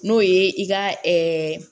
N'o ye i ka